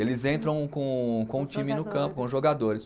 Eles entram com com o time no campo, com os jogadores.